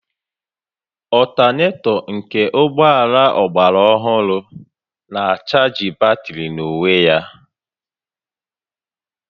Ọltanetọ nke ụgbọ ala ọgbara ọhụrụ na-achaajị batrị n'onwe ya